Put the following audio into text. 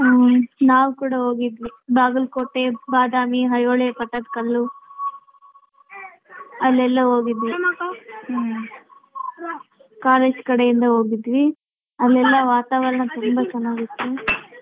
ಹ್ಮ ನಾವ್ ಕೂಡ ಹೋಗಿದ್ವಿ ಬಾಗಲಕೋಟೆ, ಬಾದಾಮಿ, ಐಹೊಳೆ, ಪಟ್ಟದಕಲ್ಲು ಅಲ್ಲೆಲ್ಲ ಹೋಗಿದ್ವಿ ಕಾಲೇಜ್ ಕಡೆಯಿಂದ ಹೋಗಿದ್ವಿ ಅಲ್ಲೆಲ್ಲ ವಾತಾವರಣ ತುಂಬಾ ಚೆನ್ನಾಗಿತ್ತು.